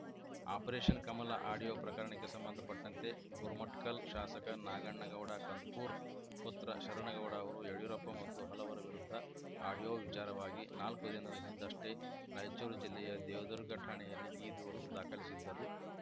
operation Kamala audio ಪ್ರಕರಣಕ್ಕೆ ಸಂಬಂಧಪಟ್ಟಂತೆ ಗುರುಮಠಕಲ್‌ ಶಾಸಕ ನಾಗಣ್ಣಗೌಡ ಕಂದಕೂರ್‌ ಪುತ್ರ ಶರಣಗೌಡ ಅವರು ಯಡಿಯೂರಪ್ಪ ಮತ್ತು ಹಲವರ ವಿರುದ್ಧ ಆಡಿಯೋ ವಿಚಾರವಾಗಿ ನಾಲ್ಕು ದಿನದ ಹಿಂದಷ್ಟೇ ರಾಯಚೂರು ಜಿಲ್ಲೆಯ ದೇವದುರ್ಗ ಠಾಣೆಯಲ್ಲಿ ಈ ದೂರು ದಾಖಲಿಸಿದ್ದರು